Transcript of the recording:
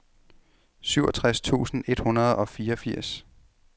syvogtres tusind et hundrede og fireogfirs